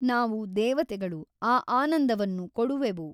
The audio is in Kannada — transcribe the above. ನಾವು ದೇವತೆಗಳು ಆ ಆನಂದವನ್ನು ಕೊಡುವೆವು.